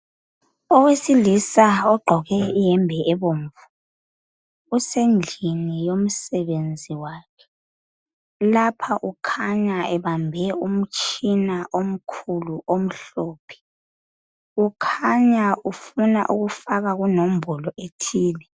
Owesilisa ogqoke iyembe ebomvu, usendlini yomsebenzi wakhe. Lapha ukhanya ebambe umtshina omkhulu omhlophe. Kukhanya ufuna ukufaka kunombolo ethile.